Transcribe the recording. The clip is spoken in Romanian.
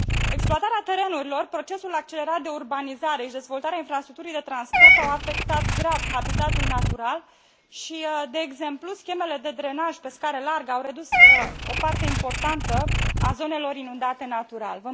Exploatarea terenurilor, procesul accelerat de urbanizare și dezvoltarea infrastructurii de transport au afectat grav habitatul natural și, de exemplu, schemele de drenaj pe scară largă au redus o parte importantă a zonelor inundate natural.